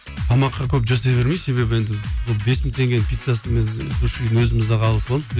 тамаққа көп жасай бермеймін себебі енді бұл бес мың теңгенің пиццасын мен өзіміз ақ ала саламын